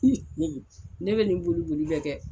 ne be nin boli boli bɛ kɛ